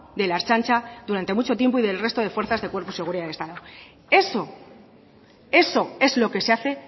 de la ertzaintza durante mucho tiempo y del resto de fuerzas y cuerpo de seguridad del estado eso es lo que se hace